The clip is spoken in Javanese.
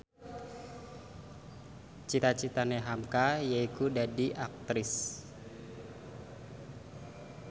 cita citane hamka yaiku dadi Aktris